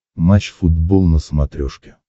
матч футбол на смотрешке